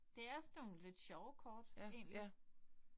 Det er sådan nogen lidt sjove kort egentlig